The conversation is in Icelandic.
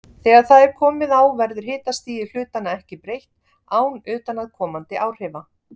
Þegar það er komið á verður hitastigi hlutanna ekki breytt án utanaðkomandi áhrifa.